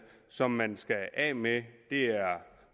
som man skal af med det er